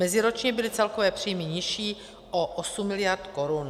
Meziročně byly celkové příjmy nižší o 8 mld. korun.